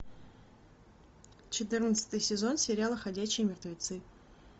четырнадцатый сезон сериала ходячие мертвецы